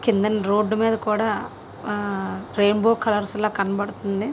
Road మీద కూడా ఆ రెయిన్బో కలర్స్ ల కనబడుతుంది.